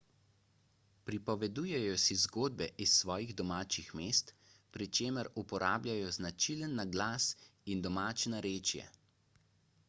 pripovedujejo si zgodbe iz svojih domačih mest pri čemer uporabljajo značilen naglas in domače narečje